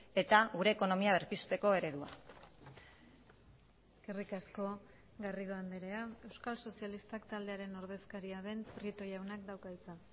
eta gure ekonomia berpizteko eredua eskerrik asko garrido andrea euskal sozialistak taldearen ordezkaria den prieto jaunak dauka hitza